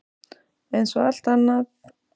Eins og allt annað.